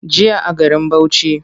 Jiya a garin Bauchi.